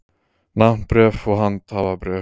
Nafnbréf og handhafabréf.